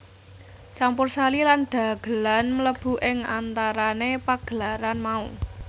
Campursari lan dhagelan mlebu ing antarané pagelaran mau